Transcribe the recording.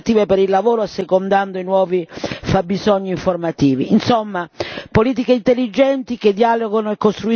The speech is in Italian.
I piani di sviluppo e di crescita devono connettersi con le politiche attive per il lavoro, assecondando i nuovi fabbisogni formativi.